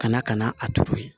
Ka na ka na a turu yen